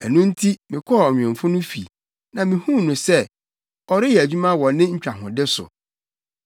Ɛno nti, mekɔɔ ɔnwemfo no fi na mihuu no sɛ, ɔreyɛ adwuma wɔ ne ntwahode so.